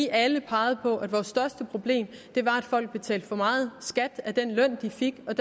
alle pegede på at vores største problem var at folk betalte for meget skat af den løn de fik og